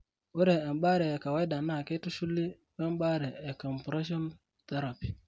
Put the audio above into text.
Ore embaare ekawaida naa Keitushuli we mbaare e compression therapy.